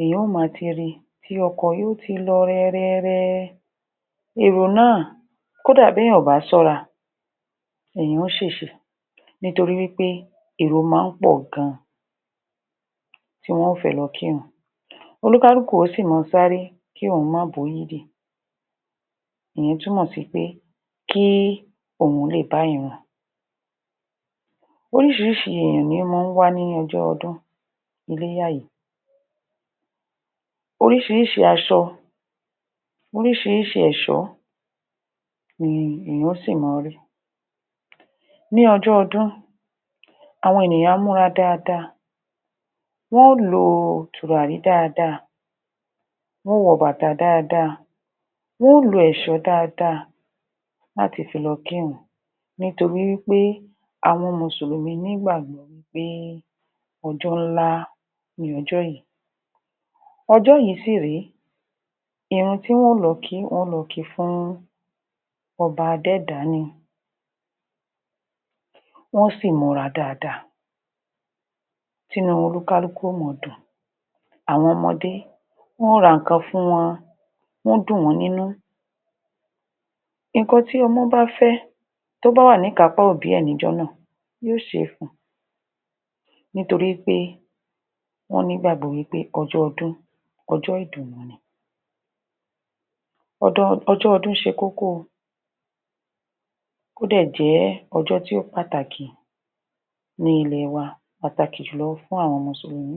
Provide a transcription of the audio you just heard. èèyàn ó ma ti ri tí ọkọ̀ ó ti lọ rẹrẹrẹ èrò náà kódà bí èèyàn kò bá ṣọ́ra èèyàn ó ṣèṣe nítorí wí pé èrò máa ń pọ̀ gan tí wọn ó fẹ́ lọ kírun olúkálùkù yóò sì máa sáré kí òun má yíídì ìyẹn túmọ̀ sí pé kí òun bá ìrun oríṣirísi èèyàn ní í máa ń wá ní ọjọ́ ọdún orísiríṣi aṣọ oríṣiríṣi ẹ̀ṣọ́ ni èèyàn ó sì máa rí ní ọjọ́ ọdún àwọn ènìyàn á múra dáadáa wọ́n ó lo tùràrí dáadáa wọn ó wọ bàtà dáadáa wọn ó lo ẹ̀ṣọ́ dáadáa láti fi lọ kírun nítorí wí pé àwọn mùsùlùmí ní ìgbàgbọ́ wí pé ọjọ́ ńlá ni ọjọ́ yẹn ọjọ́ yẹn ọjọ́ yìí sì rèé ìrun tí wọn ó lọ kí fún ọba adẹ́dàá ni wọn ó sì múra dáadáa tí inú olúkálukú ó ma dùn àwọn ọmọdé wọ́n ó ra nǹkan fún wọn wọ́n ó dùn wọ́n nínú nǹkan tí ọmọ́ bá fẹ́ tó bá wà ní ìkápá òbí ẹ̀ ní ijọ́ náà yóò ṣe fun nítorí pé wọ́n gbàgbọ́ pé ọjọ́ ọdún ọjọ́ ìdùnnú ni ọjọ́ ọdún ṣe kókó o ó dẹ̀ jẹ́ ọjọ́ tí ó pàtàkì ní ilẹ̀ wa pàtàkì jùlọ fún àwọn mùsùlùmí